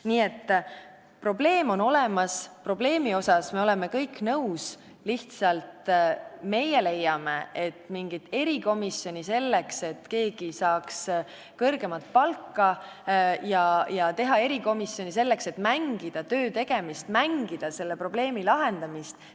Nii et probleem on olemas, sellega me oleme kõik nõus, lihtsalt meie leiame, et ei ole vaja teha mingit erikomisjoni, selleks et keegi saaks kõrgemat palka, ning mängida töötegemist ja probleemi lahendamist.